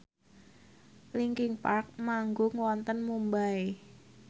linkin park manggung wonten Mumbai